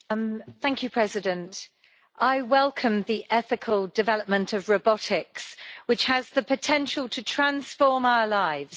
Madam President, I welcome the ethical development of robotics, which has the potential to transform our lives.